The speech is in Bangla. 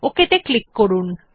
OK ত়ে ক্লিক করুন